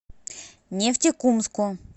нефтекумску